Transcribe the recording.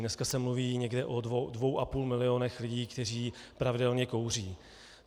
Dneska se mluví někde o dvou a půl milionu lidí, kteří pravidelně kouří.